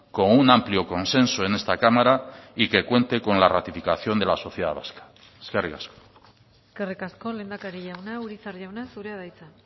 con un amplio consenso en esta cámara y que cuente con la ratificación de la sociedad vasca eskerrik asko eskerrik asko lehendakari jauna urizar jauna zurea da hitza